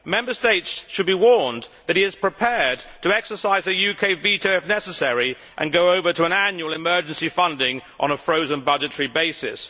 Member States should be warned that he is prepared to exercise the UK veto if necessary and go over to an annual emergency funding on a frozen budgetary basis.